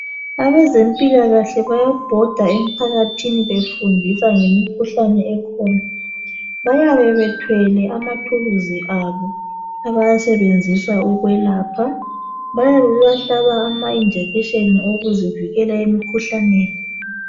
Abezempilakahle bayabhoda emphakathini befundisa ngemkhuhlane ekhona . Bayabe bethwele amathuluzi abo abawasebenzisa ukwelapha .Bayabe bebahlaba amajekiseni okuzivikela emkhuhlaneni .